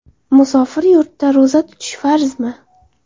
Musofir yurtda ro‘za tutish farzmi?.